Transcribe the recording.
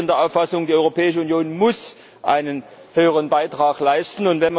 Ich bin der Auffassung, die Europäische Union muss einen höheren Beitrag leisten.